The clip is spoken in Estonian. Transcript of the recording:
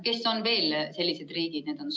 Kes on veel sellised riigid?